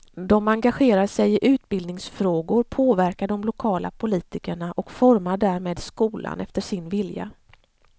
De engagerar sig i utbildningsfrågor, påverkar de lokala politikerna och formar därmed skolan efter sin vilja.